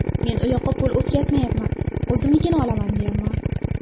Men u yoqqa pul o‘tkazmayapman, o‘zimnikini olaman, deyapman.